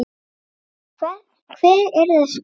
Hver er þessi kona?